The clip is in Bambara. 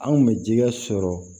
Anw kun bɛ jɛgɛ sɔrɔ